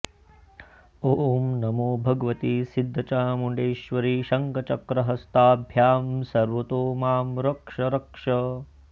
ॐ नमो भगवति सिद्धचामुण्डेश्वरि शङ्खचक्रहस्ताभ्यां सर्वतो मां रक्ष रक्ष